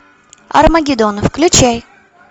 армагеддон включай